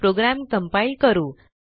program compile करू